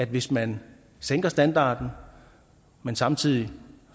hvis man sænker standarden men samtidig